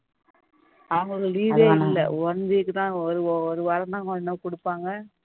அவங்களுக்கு leave ஏ இல்ல one week தான் ஒரு வாரம் தான் குடுப்பாங்க